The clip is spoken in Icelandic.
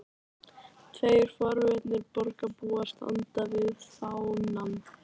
Tveir forvitnir borgarbúar standa við fánann.